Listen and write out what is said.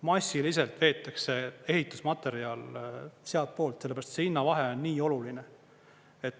Massiliselt veetakse ehitusmaterjal sealtpoolt, sellepärast et see hinnavahe on nii oluline.